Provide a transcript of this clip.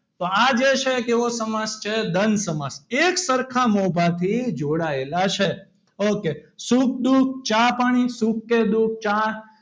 તો આજે છે કેવો સમાસ છે. દ્રંદ સમાસ એક સરખા મોભાથી જોડાયેલા છે. okay સુખ દુઃખ ચા પાણી સૂખ કે દુઃખ ચા,